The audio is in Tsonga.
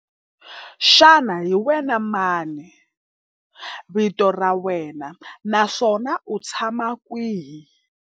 Xana hi wena mani vito ra wena naswona u tshama kwihi?